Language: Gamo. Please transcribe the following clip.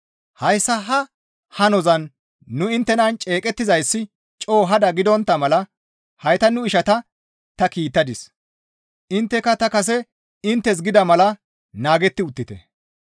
Hayssa ha hanozan nu inttenan ceeqettizayssi coo hada gidontta mala hayta nu ishata ta kiittadis; intteka ta kase inttes gida mala naagetti uttite.